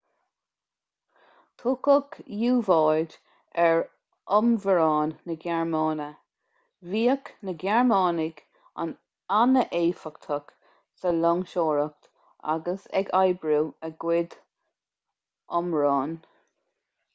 tugadh u-bháid ar fhomhuireáin na gearmáine bhíodh na gearmánaigh an-éifeachtach sa loingseoireacht agus ag oibriú a gcuid fomhuireán